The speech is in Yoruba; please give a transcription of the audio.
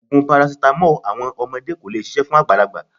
Ògùn parasítámọ̀ ọmọdé kò lè ṣiṣẹ̀ fún àgbàlagbà.